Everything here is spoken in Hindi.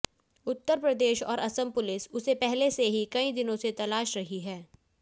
उत्तर प्रदेश और असम पुलिस उसे पहले से ही कई दिनों से तलाश रही है